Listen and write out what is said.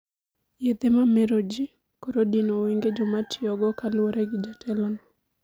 Yedhe mamer ji koro dino wenge jomatiyogo kaluore gi jatelo no